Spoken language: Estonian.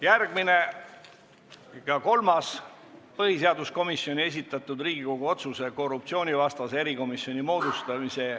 Järgmine ja kolmas põhiseaduskomisjoni esitatud Riigikogu otsuse eelnõu: see on korruptsioonivastase erikomisjoni moodustamise kohta.